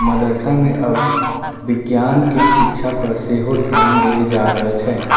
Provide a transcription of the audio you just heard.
मदरसा में अब विज्ञान के शिक्षा पर से हो ध्यान दे जा रहल छै।